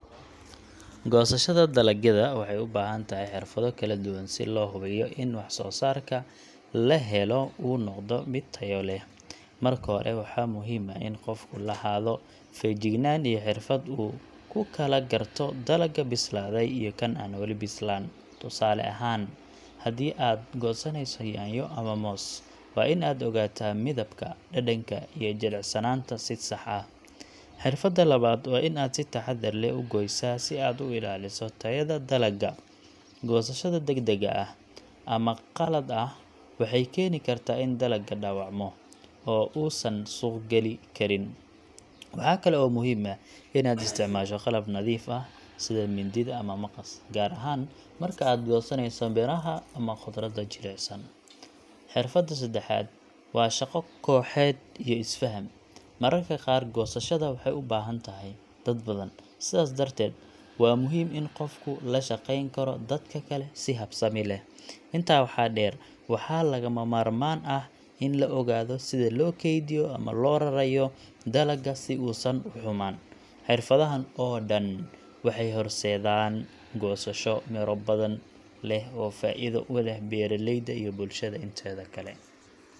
Goosashada dalagyada waxay u baahan tahay xirfado kala duwan si loo hubiyo in wax-soosaarka la helo uu noqdo mid tayo leh. Marka hore, waxaa muhiim ah in qofku lahaado feejignaan iyo xirfad uu ku kala garto dalagga bislaaday iyo kan aan weli bislaan. Tusaale ahaan, haddii aad goosanayso yaanyo ama moos, waa in aad ogaataa midabka, dhadhanka iyo jilicsanaanta si sax ah. Xirfadda labaad waa in aad si taxadar leh u gooysaa si aad u ilaaliso tayada dalagga. Goosashada degdeg ah ama qalad ah waxay keeni kartaa in dalagga dhaawacmo oo uusan suuq gali karin. Waxaa kale oo muhiim ah in aad isticmaasho qalab nadiif ah sida mindida ama maqas, gaar ahaan marka aad goosanayso miraha ama khudradda jilicsan. Xirfadda saddexaad waa shaqo kooxeed iyo is-faham. Mararka qaar goosashada waxay u baahan tahay dad badan, sidaas darteed waa muhiim in qofku la shaqeyn karo dadka kale si habsami leh. Intaa waxaa dheer, waxaa lagama maarmaan ah in la ogaado sida loo kaydiyo ama loo rarayo dalagga si uusan u xumaan. Xirfadahan oo dhan waxay horseedaan goosasho miro badan leh oo faa’iido u leh beeraleyda iyo bulshada inteeda kale.